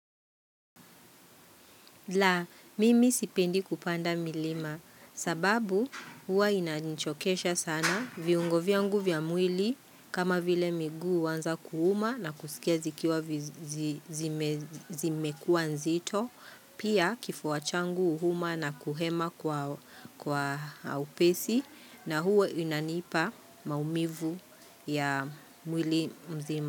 La, mimi sipendi kupanda milima sababu huwa inanichokesha sana viungo vya mwili kama vile miguu huanza kuuma na kusikia zikiwa vi zime zimekuwa nzito pia kifua changu huuma na kuhema kwa upesi na huwa inanipa maumivu ya mwili mzima.